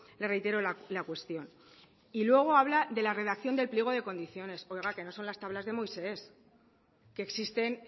le reitero la cuestión y luego habla de la redacción del pliego de condiciones oiga que no son las tablas de moisés que existen